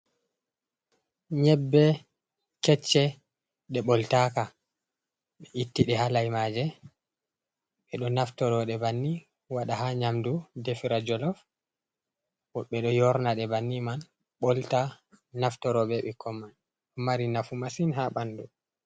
Nyebbe kecce, ɗe ɓoltaaka. Ɓe itti ɗe ha leimaaje, ɓe ɗo naftire ɗe banni, waɗa haa nyamdu defira jollof. Woɓɓe ɗo yorna ɗe banni man, ɓolta, naftiro bee ɓikkon man, mari nafu masin haa banndu.